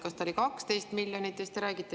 Kas see on 12 miljonit?